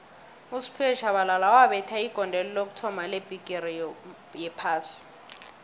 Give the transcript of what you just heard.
usphiwe shabalala wabetha igondelo lokuthoma lebhigixi yophasi